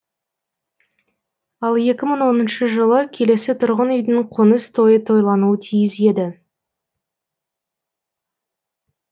ал екі мың оныншы жылы келесі тұрғын үйдің қоныс тойы тойлануы тиіс еді